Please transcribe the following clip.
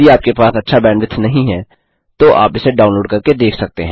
यदि आपके पास अच्छा बैंडविड्थ नहीं है तो आप इसे डाउनलोड करके देख सकते हैं